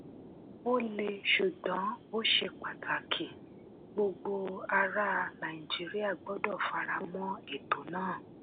ó le ṣùgbọ́n ó ṣe pàtàkì gbogbo ará nàìjíríà gbọ́dọ̀ fara mọ́ ètò náà.